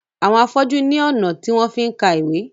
Awon afọju ní ọnà tí wón fí ká ìwé.